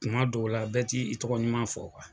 Kuma dɔw la bɛɛ t'i i tɔgɔ ɲuman fɔ kuwa